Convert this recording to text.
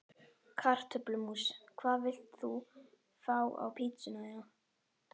Kartöflumús Hvað vilt þú fá á pizzuna þína?